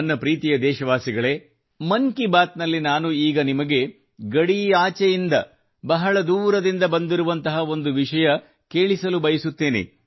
ನನ್ನ ಪ್ರೀತಿಯ ದೇಶವಾಸಿಗಳೇ ಮನ್ ಕಿ ಬಾತ್ ನಲ್ಲಿ ನಾನು ಈಗ ನಿಮಗೆ ಗಡಿಯಾಚೆಯಿಂದ ಬಹಳ ದೂರದಿಂದ ಬಂದಿರುವಂತಹ ಒಂದು ವಿಷಯ ಕೇಳಿಸಲುಬಯಸುತ್ತೇನೆ